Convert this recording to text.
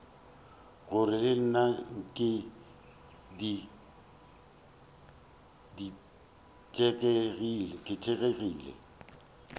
gore le nna ke ditelegile